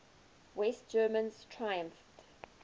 west germans triumphed